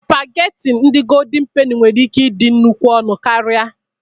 Sụpagheti ndị Goldin Peni nwere ike ịdịkwu ọnụ karịa.